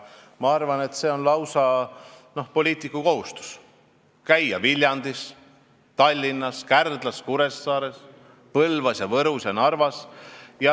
Ma arvan, et on lausa poliitiku kohustus käia Viljandis, Tallinnas, Kärdlas, Kuressaares, Põlvas, Võrus ja Narvas.